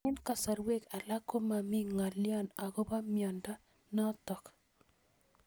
Eng'kasarwek alak ko mami ng'alyo akopo miondo notok